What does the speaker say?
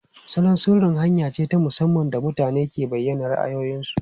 Salon sirri hanya ce ta musamman da mutane ke bayyana ra'ayoyinsu.